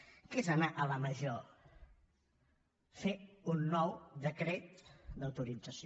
què és anar a la major fer un nou decret d’autorització